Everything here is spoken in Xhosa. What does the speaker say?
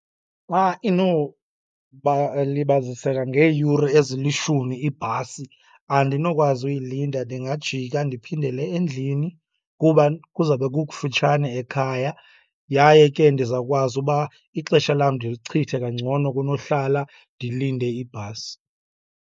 Xa libaziseka ngeeyure ezilishumi ibhasi, andinokwazi uyilinda. Ndingajika ndiphindele endlini kuba kuzabe kukufutshane ekhaya, yaye ke ndizawukwazi uba ixesha lam ndilichithe kangcono kunohlala ndilinde ibhasi.